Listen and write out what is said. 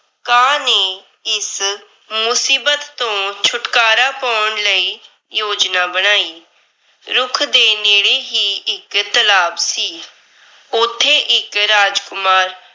ਕਾਂ ਨੇ ਇਸ ਮੁਸੀਬਤ ਤੋਂ ਛੁਟਕਾਰਾ ਪੌਣ ਲਈ ਯੋਜਨਾ ਬਣਾਈ। ਰੁੱਖ ਦੇ ਨੇੜੇ ਹੀ ਇੱਕ ਤਲਾਬ ਸੀ। ਉੱਥੇ ਇੱਕ ਰਾਜਕੁਮਾਰ